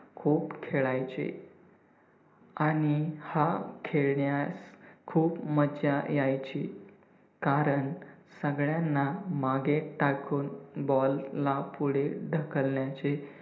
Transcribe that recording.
खूप खेळायचे आणि हा खेळण्यास खूप मज्जा यायची, कारण सगळ्यांना मागे टाकून ball ला पुढे ढकलण्याचे